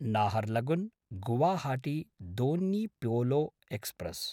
Naharlagun Guwahati Donyi Polo express